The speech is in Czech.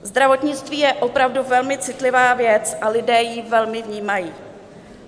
Zdravotnictví je opravdu velmi citlivá věc a lidé ji velmi vnímají.